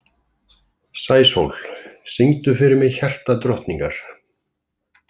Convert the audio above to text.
Sæsól, syngdu fyrir mig „Hjartadrottningar“.